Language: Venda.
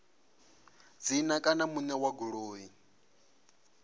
dzina kana muṋe wa goloi